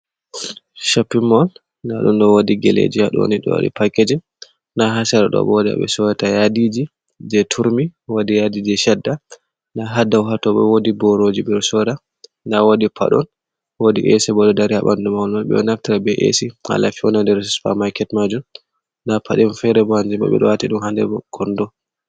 Shoppimol nda ɗum ɗo wodi geleji ha doni ɗo waɗi pakeji nda ha sera ɗo bo wodi ha ɓe sorata yadiji je turmi wodi yadiji shada nda ha dau ha tobo wodi boroji ɓeɗo soda nda wodi paɗon, wodi esi bo ɗo dari ha ɓandu mahol man ɓeɗo naftira be esi hala fewna babal nder super market majun nda paɗon fere bo kanjum bo ɓe ɗo wati ɗum ha nder kondo.